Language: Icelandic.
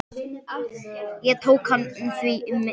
Ég tók hann því heim.